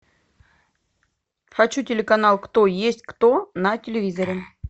хочу телеканал кто есть кто на телевизоре